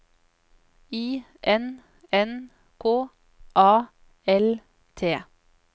I N N K A L T